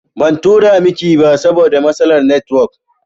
Ban tura miki ba saboda matsalar netiwok